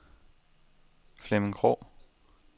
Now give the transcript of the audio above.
Flemming Krogh